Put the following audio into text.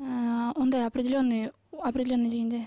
ы ондай определенный определенный дегенде